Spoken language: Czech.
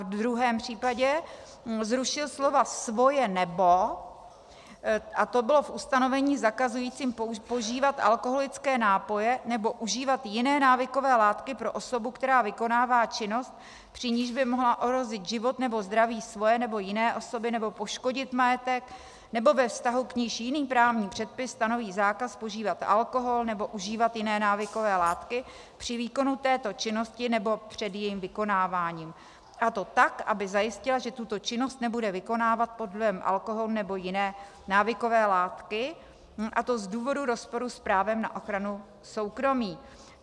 V druhém případě zrušil slova "svoje nebo", a to bylo v ustanovení zakazujícím požívat alkoholické nápoje nebo užívat jiné návykové látky pro osobu, která vykonává činnost, při níž by mohla ohrozit život nebo zdraví svoje nebo jiné osoby nebo poškodit majetek, nebo ve vztahu k níž jiný právní předpis stanoví zákaz požívat alkohol nebo užívat jiné návykové látky při výkonu této činnosti nebo před jejím vykonáváním, a to tak, aby zajistila, že tuto činnost nebude vykonávat pod vlivem alkoholu nebo jiné návykové látky, a to z důvodu rozporu s právem na ochranu soukromí.